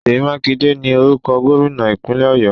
Sèyí Mákindé ni orúkọ Gómìnà ìpínlẹ̀ Ọ̀yọ́